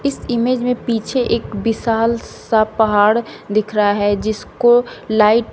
इस इमेज में पीछे एक विशाल सा पहाड़ दिख रहा है जिसको लाइट --